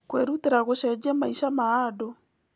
Kwĩrutĩra gũcenjia maica ma andũ.